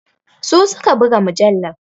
Su su ka buga mujallar.